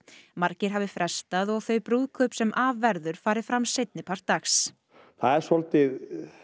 margir hafi frestað og að þau brúðkaup sem af verður fari fram seinnipart dags það er svolítið